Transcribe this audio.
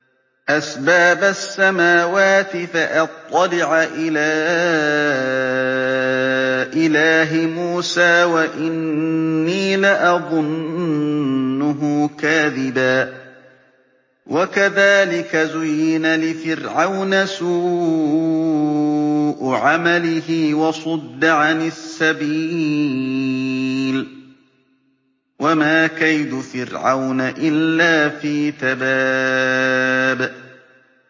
أَسْبَابَ السَّمَاوَاتِ فَأَطَّلِعَ إِلَىٰ إِلَٰهِ مُوسَىٰ وَإِنِّي لَأَظُنُّهُ كَاذِبًا ۚ وَكَذَٰلِكَ زُيِّنَ لِفِرْعَوْنَ سُوءُ عَمَلِهِ وَصُدَّ عَنِ السَّبِيلِ ۚ وَمَا كَيْدُ فِرْعَوْنَ إِلَّا فِي تَبَابٍ